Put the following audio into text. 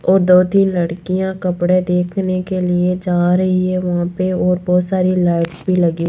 और दो तीन लड़कियां कपड़े देखने के लिए जा रही है वहां पे और बहोत सारी लाइट्स भी लगी--